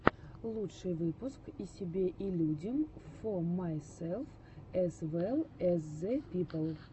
лучший выпуск и себе и людям фо майсэлф эз вэлл эз зэ пипл